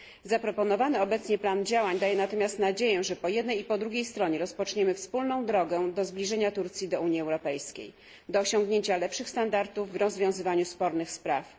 Zaproponowany obecnie plan działań daje natomiast nadzieję, że po jednej i po drugiej stronie rozpoczniemy wspólną drogę do zbliżenia Turcji do Unii Europejskiej, do osiągnięcia lepszych standardów w rozwiązywaniu spornych spraw.